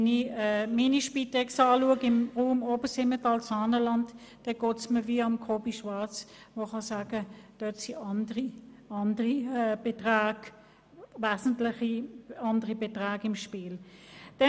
Wenn ich meine Spitex im Raum Obersimmental-Saanenland anschaue, geht es mir wie Kobi Schwarz, der sagt, dass wesentlich andere Beträge im Spiel sind.